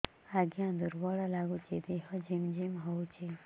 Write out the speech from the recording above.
ଆଜ୍ଞା ଦୁର୍ବଳ ଲାଗୁଚି ଦେହ ଝିମଝିମ ହଉଛି